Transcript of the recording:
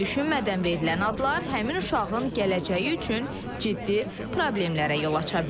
Bəzən düşünmədən verilən adlar həmin uşağın gələcəyi üçün ciddi problemlərə yol aça bilər.